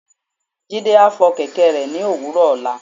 Jide a fo kẹkẹ re ni owúrò ola